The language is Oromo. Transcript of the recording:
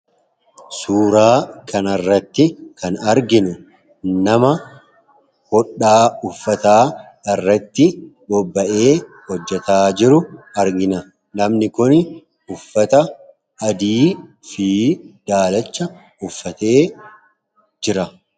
Suuraa kana irratti kan arginuu nama hoodha uffata irrattti boba'ee hojeta jiru argina. Namni kun uffata addiifi dalachaa uffate jira.